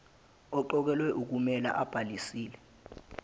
oqokelwe ukumela obhalisile